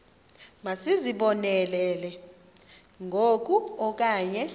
masizibonelele ngoku okanye